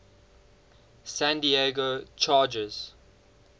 san diego chargers